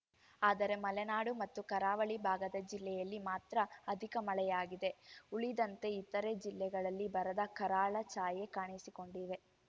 ಆದರೆ ಮಲೆನಾಡು ಮತ್ತು ಕರಾವಳಿ ಭಾಗದ ಜಿಲ್ಲೆಯಲ್ಲಿ ಮಾತ್ರ ಅಧಿಕ ಮಳೆಯಾಗಿದೆ ಉಳಿದಂತೆ ಇತರೆ ಜಿಲ್ಲೆಗಳಲ್ಲಿ ಬರದ ಕರಾಳ ಛಾಯೆ ಕಾಣಿಸಿಕೊಂಡಿವೆ